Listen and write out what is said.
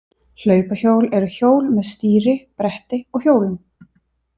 Hlaupahjól eru hjól með stýri, bretti og hjólum.